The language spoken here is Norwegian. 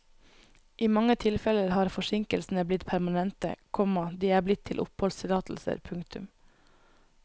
I mange tilfeller har forsinkelsene blitt permanente, komma de er blitt til oppholdstillatelser. punktum